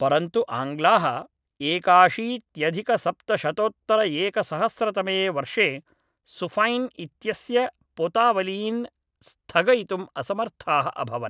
परन्तु आङ्ग्लाः एकाशीत्यधिकसप्तशतोत्तरएकसहस्रतमे वर्षे सुफैन् इत्यस्य पोतावलीन् स्थगयितुम् असमर्थाः अभवन्